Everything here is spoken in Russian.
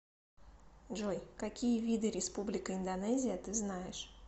джой какие виды республика индонезия ты знаешь